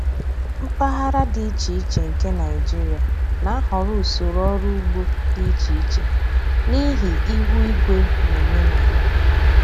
Mpaghara dị iche iche nke Nigeria na-ahọrọ usoro ọrụ ugbo dị iche iche n’ihi ihu igwe na omenala.